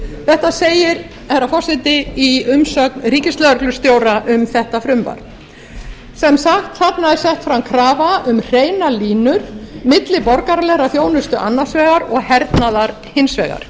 þetta segir herra forseti í umsögn ríkislögreglustjóra um þetta frumvarp sem sagt þarna er sett fram krafa um hreinar línur milli borgaralegrar þjónustu annars vegar og hernaðar hins vegar